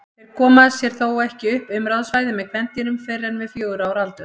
Þeir koma sér þó ekki upp umráðasvæði með kvendýrum fyrr en við fjögurra ára aldur.